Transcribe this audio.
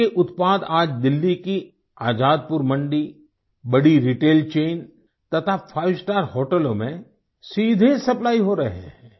उनके उत्पाद आज दिल्ली की आजादपुर मंडी बड़ी रिटेल चैन तथा फाइव स्टार होटलों में सीधे सप्लाई हो रहे हैं